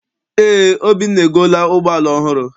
Eé, Obinna egoola ụgbọala ọhụrụ.